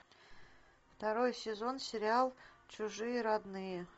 второй сезон сериал чужие родные